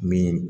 Min